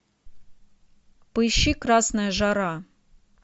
поищи красная жара